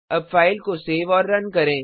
अब फ़ाइल को सेव और रन करें